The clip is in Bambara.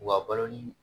U ka balo ni